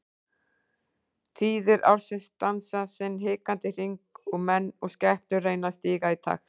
Tíðir ársins dansa sinn hikandi hring og menn og skepnur reyna að stíga í takt.